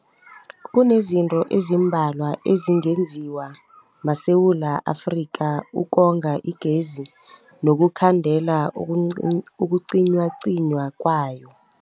Kunezinto ezimbalwa ezingenziwa maSewula Afrika ukonga igezi nokukhandela ukucin ukucinywacinywa kwayo.